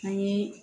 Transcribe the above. An ye